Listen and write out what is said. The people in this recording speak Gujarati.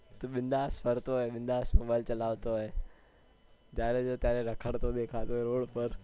તું બિન્દાસ ફરતો હોય બિન્દાસ mobile ચલાવતો હોય જયારે જોઉં ત્યારે રખડતો દેખાતો હોય road પર